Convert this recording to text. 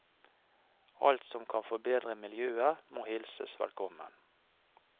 Alt som kan forbedre miljøet, må hilses velkommen.